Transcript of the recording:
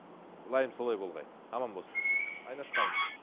ммм лайым солай болғай аман болсын айнаш ханым